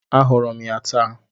Ahụrụ m ya taa.